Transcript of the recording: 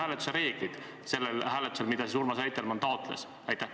Millised on selle hääletuse reeglid, mida Urmas Reitelmann taotles?